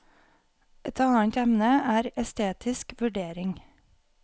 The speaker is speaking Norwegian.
Et annet emne er estetisk vurdering.